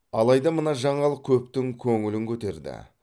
алайда мына жаңалық көптің көңілін көтерді